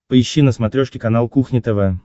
поищи на смотрешке канал кухня тв